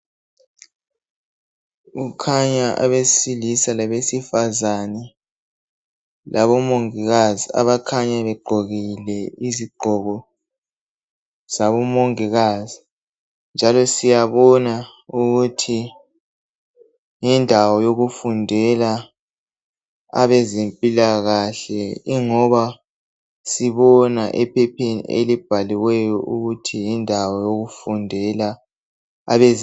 Kukhanya abesilisa labezifazana labo mongikazi abakhanya begqokile izigqoko zabo mongikazi njalo siyabona ukuthi yindawo yokufundela abezempilakahle ngoba sibona ephepheni elibhaliweyo ukuthi yindawo yokufundela abezempilakahle.